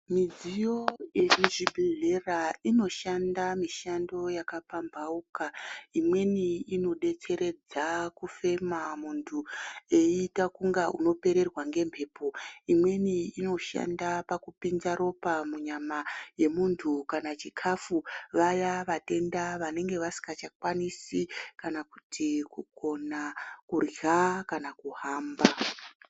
Midziyo yemuzvibhedhlera inoshanda mishando yakapambauka imweni inodetseredza kufema munthu eita kunge unopererwa ngembepo imweni inoshanda pakupinza ropa munyama yemunthu kana chikafu vaya vatenda vanenge vasingachakwanisi kana kuti kukona kurya kana kuhamba.